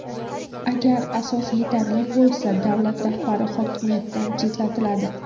Agar asos yetarli bo‘lsa, davlat rahbari hokimiyatdan chetlatiladi.